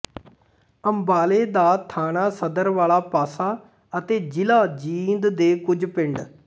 ਅੰਬਾਲੇ ਦਾ ਥਾਣਾ ਸਦਰ ਵਾਲਾ ਪਾਸਾ ਅਤੇ ਜ਼ਿਲ੍ਹਾ ਜੀਂਦ ਦੇ ਕੁਝ ਪਿੰਡ